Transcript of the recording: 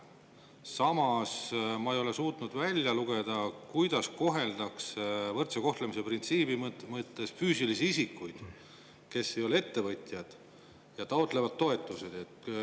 Samas ei ole ma suutnud välja lugeda, kuidas koheldakse võrdse kohtlemise printsiibi mõttes füüsilisi isikuid, kes ei ole ettevõtjad ja taotlevad toetust.